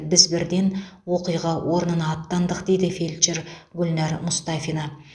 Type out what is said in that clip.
біз бірден оқиға орнына аттандық дейді фельдшер гүлнар мұстафина